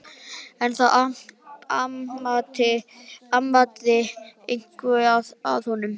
En það amaði eitthvað að honum.